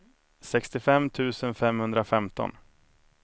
sextiofem tusen femhundrafemton